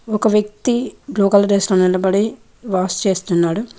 ఒక వ్యక్తి blue colour dress లో నిలబడి వాష్ చేస్తున్నాడు.